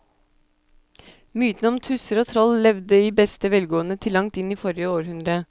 Mytene om tusser og troll levde i beste velgående til langt inn i forrige århundre.